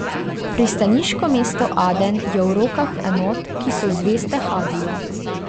Pristaniško mesto Aden je v rokah enot, ki so zveste Hadiju.